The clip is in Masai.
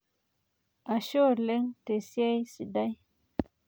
Ashe oleng' tesiai sidai.